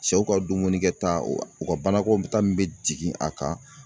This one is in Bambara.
Sɛw ka dumunikɛta o ka banakɔtaa min bɛ jigin a kan